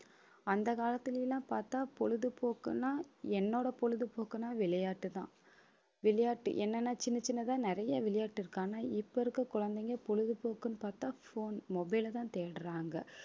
அந்த காலத்துல எல்லாம் பாத்தா பொழுதுபோக்குன்னா என்னோட பொழுதுபோக்குன்னா விளையாட்டுதான். விளையாட்டு என்னன்னா சின்ன சின்னதா, நிறைய விளையாட்டு இருக்கு. ஆனா இப்ப இருக்க குழந்தைங்க பொழுதுபோக்குன்னு பாத்தா phone mobile லதான் தேடுறாங்க